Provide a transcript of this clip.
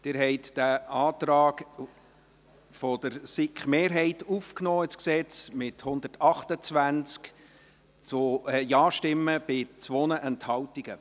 Sie haben den Antrag der SiK-Mehrheit ins Gesetz aufgenommen, mit 128 Ja-Stimmen bei 2 Enthaltungen.